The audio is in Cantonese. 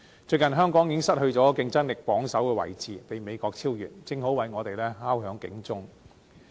最近，香港已經失去競爭力榜首的位置，被美國超越，正好為我們敲響警鐘。